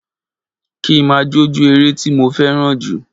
Kí ma jó je ere ti mo feran jù